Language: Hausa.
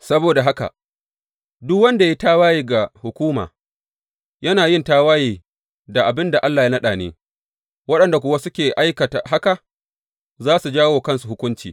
Saboda haka, duk wanda ya yi tawaye ga hukuma yana yin tawaye da abin da Allah ya naɗa ne, waɗanda kuwa suke aikata haka, za su jawo wa kansu hukunci.